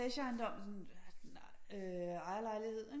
Etageejendom sådan ejerlejlighed ikke